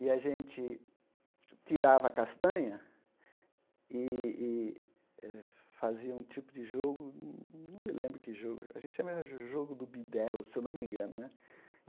E a gente tirava a castanha e e eh fazia um tipo de jogo, não me lembro que jogo, a gente chama jo jogo do bidelo, se eu não me engano né.